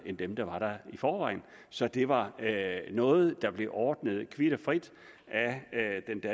end dem der var der i forvejen så det var noget der blev ordnet kvit og frit af